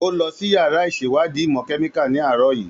Ó lọ sí yàrá ìṣèwádìí ìmọ̀ kẹ́míkà ní àárọ̀ yìí.